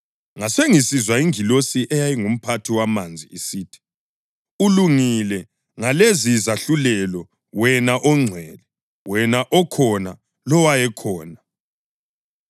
Ngasengisizwa ingilosi eyayingumphathi wamanzi isithi: “Ulungile ngalezizahlulelo, wena oNgcwele wena okhona lowayekhona,